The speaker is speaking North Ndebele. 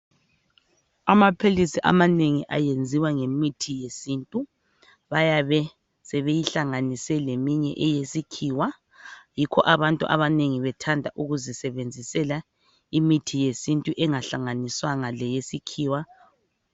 Amaphilisi amanengi ayenziwa ngemithi yesintu bayabe sebeyihlanganise leminye eyesikhiwa yikho abantu abanengi sebethanda ukuzisebenzisela imithi yesintu engahlanganiswanga leyesikhiwa.